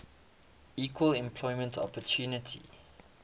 equal employment opportunity